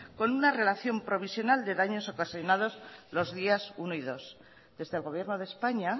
con una relación provisional con daños ocasionados los días uno y dos desde el gobierno de españa